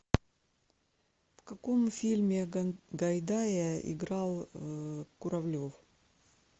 в каком фильме гайдая играл куравлев